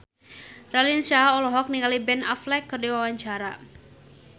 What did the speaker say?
Raline Shah olohok ningali Ben Affleck keur diwawancara